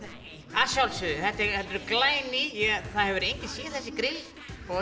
að sjálfsögðu þau eru glæný það hefur enginn séð þessi grill og